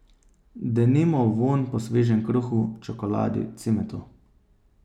Denimo vonj po svežem kruhu, čokoladi, cimetu ...